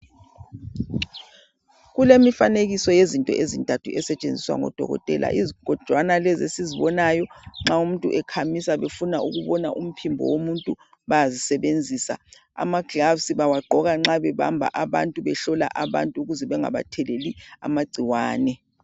Kulemifanekiso yezinto ezintathu ezisetshenziswa ngoDokotela izigojwana lezi esizbonayo nxa umuntu ekhamisa befuna ukubona umphimbo womuntu bayazisebenzisa. Amaglovisi bawagqoka nxa bebamba abantu behlola abantu ukuze bengabatheleli amagciwane